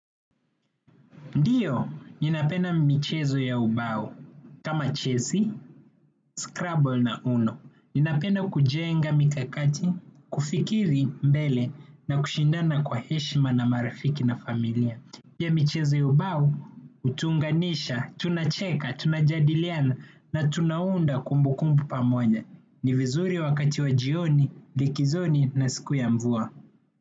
Ndiyo, ninapenda michezo ya ubao, kama chesi, scrabble na uno. Ninapenda kujenga mikakati, kufikiri mbele na kushindana kwa heshima na marafiki na familia. Pia michezo ya ubao, utunganisha, tunacheka, tunajadiliana na tunaunda kumbukumbu pamoja. Ni vizuri wakati wa jioni, likizoni na siku ya mvua.